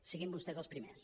siguin vostès els primers